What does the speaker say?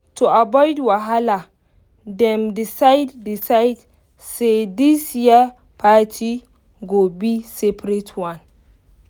to avoid wahala dem decide decide say this year party go be seperate one